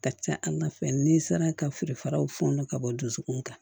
Ka ca ala fɛ ni n sera ka feere faraw funu ka bɔ dusukun kan